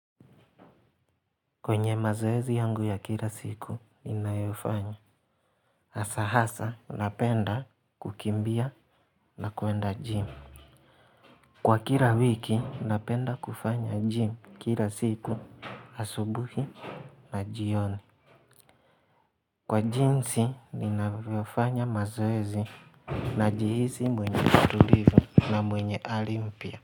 Kwenye mazoezi yangu ya kila siku ninayofanya hasa hasa napenda kukimbia na kwenda gym. Kwa kila wiki napenda kufanya gym kila siku asubuhi na jioni. Kwa jinsi ninayofanya mazoezi najihisi mwenye utulivu na mwenye ari mpya.